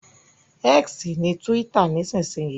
X ni túwítà nísinsìnyí